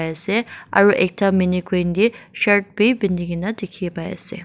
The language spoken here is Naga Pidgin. ase aro ekta mannequin de shirt b penigina dikhi pai ase.